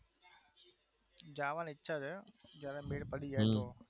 જવાની ઈચ્છા છે જયારે મેળ પડી જાય તો